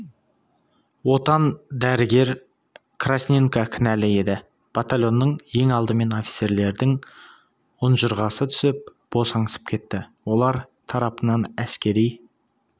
отан дәрігер красненко кінәлі еді батальонның ең алдымен офицерлердің ұнжырғасы түсіп босаңсып кетті олар тарапынан әскери